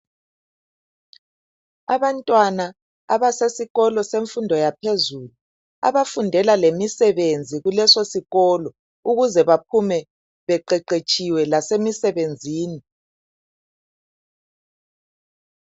Abantwana abasesikolo semfundo yaphezulu, abafundela lemisebenzi kuleso sikolo, ukuze bephume sebe qeqetshiwe lasemisebenzini.